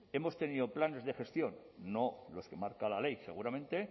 hemos tenido planes de gestión no los que marca la ley seguramente